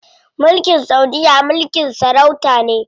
Mulkin saudiya mulkin sarauta ne.